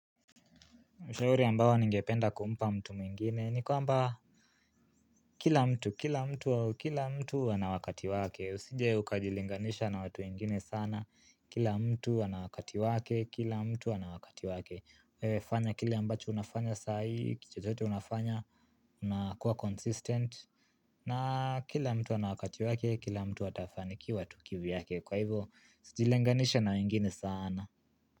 Ushauri ambao ningependa kumpa mtu mwingine ni kwamba kila mtu, kila mtu, kila mtu ana wakati wake. Usije ukajilinganisha na watu wengine sana, kila mtu ana wakati wake, kila mtu ana wakati wake. Wewe fanya kile ambacho unafanya saa hii, kitu chochote unafanya, unakuwa consistent. Na kila mtu ana wakati wake, kila mtu atafanikiwa tu kivyake. Kwa ivo, sijilinganishe na wengine sana.